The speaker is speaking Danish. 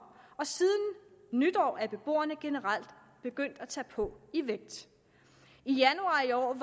og siden nytår er beboerne generelt begyndt at tage på i vægt i januar i år